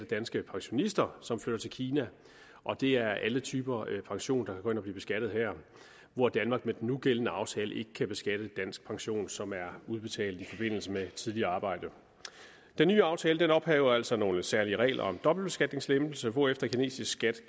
danske pensionister som flytter til kina og det er alle typer pension der at blive beskattet her hvor danmark med den nugældende aftale ikke kan beskatte dansk pension som er udbetalt i forbindelse med tidligere arbejde den nye aftale ophæver altså nogle særlige regler om dobbeltbeskatningslempelse hvorefter kinesisk skat